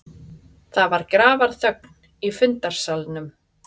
Það var grafarþögn í fundarsalnum.